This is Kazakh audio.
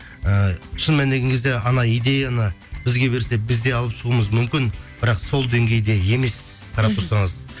ііі шын мәнінде келген кезде анау идеяны бізге берсе біз де алып шығуымыз мүмкін бірақ сол деңгейде емес қарап тұрсаңыз